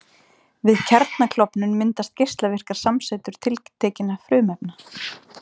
Við kjarnaklofnun myndast geislavirkar samsætur tiltekinna frumefna.